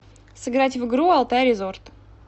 сыграть в игру алтай резорт